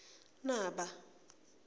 naba